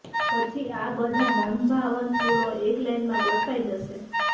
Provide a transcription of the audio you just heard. પછી આ બધા મનભાવન ફૂલો એક લાઈનમાં ગોઠવાઈ જશે